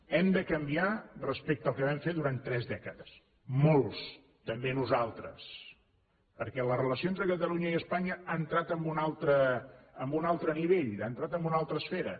hem de canviar respecte al que vam fer durant tres dècades molts també nosaltres perquè la relació entre catalunya i espanya ha entrat en un altre nivell ha entrat en una altra esfera